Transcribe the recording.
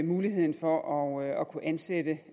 muligheden for at kunne ansætte